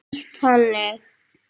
Þýtt þannig